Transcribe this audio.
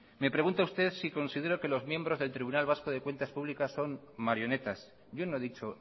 me pregunta usted si considero que los miembros del tribunal vasco de cuentas públicas son marionetas yo no he dicho